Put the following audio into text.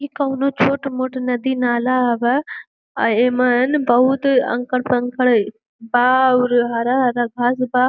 ई काउनो छोट मोट नदी नाला हवे। आ ऐमन बहोत अंकड़ कंकड़ बा अउर हरा-हरा घास बा।